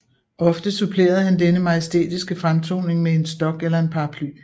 Ofte supplerede han denne majestætiske fremtoning med en stok eller en paraply